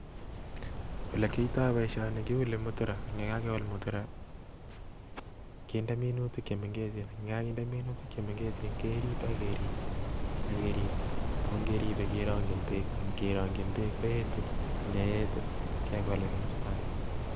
Ole kioto boishoni keule muthura, ye Ka keul muthura kinde minutik chemengechen, yekokinde minutik chemengechen keriib ak keriib ak keriib, ako ingeribe kerongyin beek, ak ngeronkyiin beek koetu, ak ye eet kegool en komostoo age.